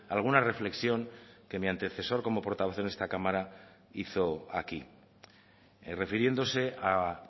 alguna reflexión que mi antecesor como portavoz en esta cámara hizo aquí refiriéndose a